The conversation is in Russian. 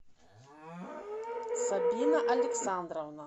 сабина александровна